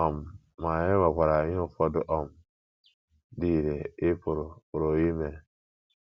um Ma e nwekwara ihe ụfọdụ um dị irè ị pụrụ pụrụ ime.